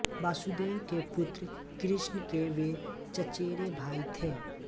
वसुदेव के पुत्र कृष्ण के वे चचेरे भाई थे